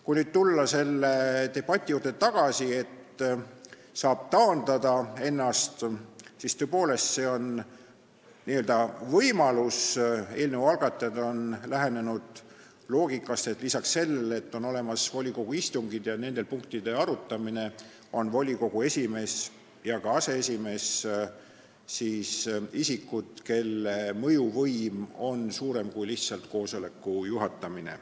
Kui nüüd selle debati juurde tagasi tulla, et saab ennast taandada, siis tõepoolest, see on n-ö võimalus, eelnõu algatajad on lähenenud sellest loogikast, et lisaks sellele, et on olemas volikogu istungid ja nendel punktide arutamine, on volikogu esimees ja aseesimees isikud, kelle mõjuvõim on suurem kui lihtsalt koosoleku juhatamine.